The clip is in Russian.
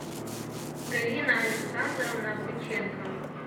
галина александровна быченкова